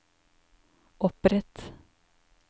opprett